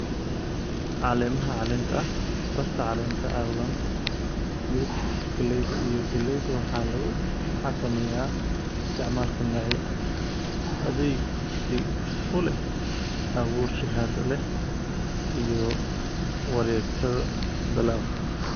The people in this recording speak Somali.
"Caleemaha caleenta ah, barta caleenta cawlan, miridhku galleyda iyo gallayda waxaa lagu xakameeyaa isticmaalka noocyo adkaysi u leh, abuur shahaado leh, iyo wareegtada dalagga."